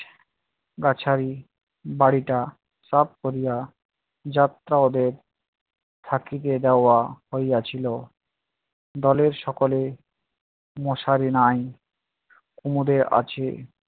বাছাই বাড়িটা সাফ করিয়া যাত্রা ওদের থাকিতে দেওয়া হইয়াছিল। দলের সকলের মশারি নাই কোমরে আছে